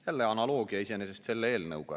Jälle analoogia iseenesest selle eelnõuga.